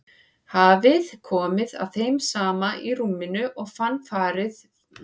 Hafði komið að þeim saman í rúminu og fannst farið á bak við sig.